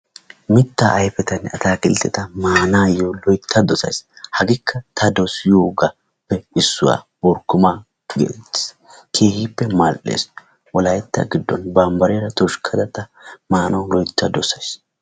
Mitta ayfetanne atakiltteta maanayyo loytta dossay, hagekka ta dossiyoogappe issuwaa orkkoma getettees, keehippe mal"ees. Wolaytta giddon bambbariyaara tushkkaka ta maanaw loytta dossays.